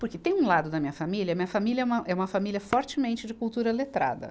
Porque tem um lado da minha família, minha família é uma, é uma família fortemente de cultura letrada.